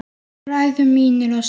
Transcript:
Bræður mínir og systur.